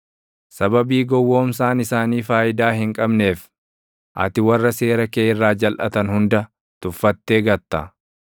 Sababii gowwoomsaan isaanii faayidaa hin qabneef; ati warra seera kee irraa jalʼatan hunda tuffattee gatta.